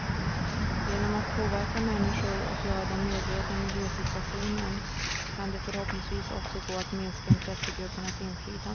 Genom att påverka människor och göra dem medvetna om miljösituationen kan det förhoppningsvis också gå att minska intressegruppernas inflytande.